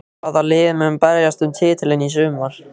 Hvaða lið munu berjast um titilinn í sumar?